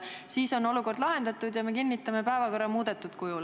Siis on olukord lahendatud ja me kinnitame päevakorra muudetud kujul.